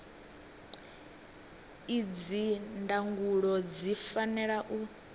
idzi ndangulo zwi fanela u